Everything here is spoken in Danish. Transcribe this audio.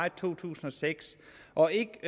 i to tusind og seks og ikke